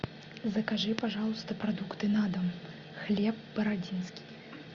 закажи пожалуйста продукты на дом хлеб бородинский